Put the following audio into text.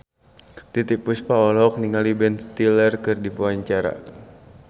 Titiek Puspa olohok ningali Ben Stiller keur diwawancara